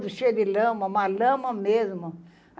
cheio de lama, uma lama mesmo.